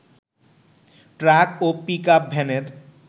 truck ও pickup ভ্যানের